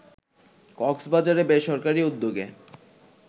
কক্সবাজারে বেসরকারি উদ্যোগে